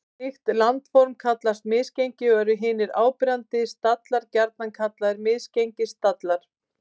Slík landform kallast misgengi og eru hinir áberandi stallar gjarnan kallaðir misgengisstallar.